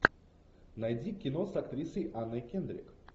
найди кино с актрисой анной кендрик